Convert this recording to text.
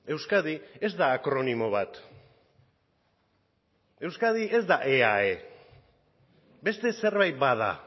euskadi ez da akronimo bat euskadi ez da eae beste zerbait bada